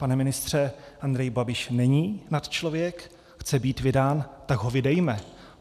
Pane ministře, Andrej Babiš není nadčlověk, chce být vydán, tak ho vydejme.